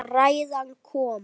Og ræðan kom.